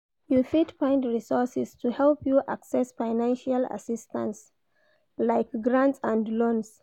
You fit find resources to help you access financial assistance, like grant and loans.